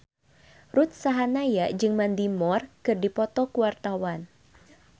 Ruth Sahanaya jeung Mandy Moore keur dipoto ku wartawan